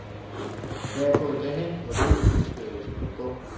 Jeg er gået derhen, hvor du ikke ønskede, jeg skulle gå.